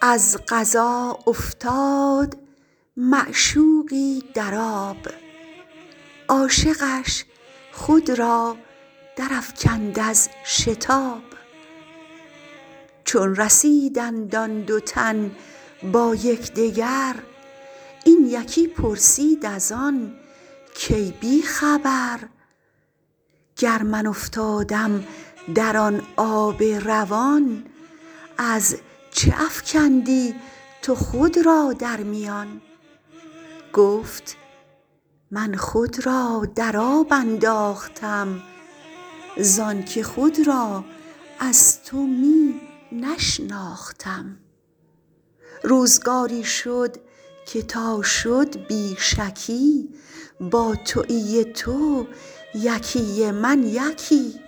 از قضا افتاد معشوقی در آب عاشقش خود را درافکند از شتاب چون رسیدند آن دو تن با یک دگر این یکی پرسید از آن کای بی خبر گر من افتادم در آن آب روان از چه افکندی تو خود را در میان گفت من خود را در آب انداختم زانک خود را از تو می نشناختم روزگاری شد که تا شد بی شکی با تویی ی تو یکی ی من یکی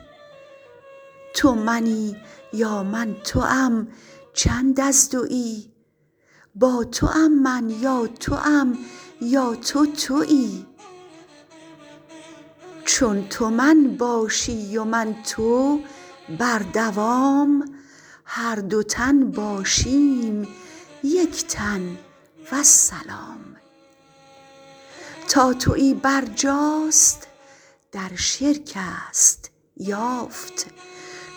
تو منی یا من توم چند از دوی با توم من یا توم یا تو توی چون تو من باشی و من تو بر دوام هر دو تن باشیم یک تن والسلام تا توی برجاست در شرکست یافت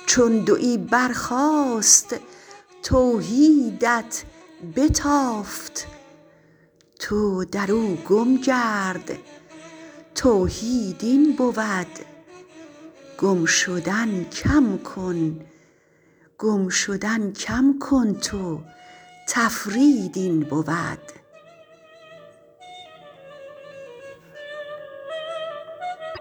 چون دوی برخاست توحیدت بتافت تو درو گم گرد توحید این بود گم شدن کم کن تو تفرید این بود